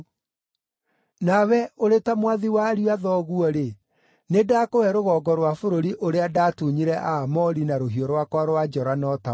Nawe, ũrĩ ta mwathi wa ariũ a thoguo-rĩ, nĩndakũhe rũgongo rwa bũrũri ũrĩa ndaatunyire Aamori na rũhiũ rwakwa rwa njora na ũta wakwa.”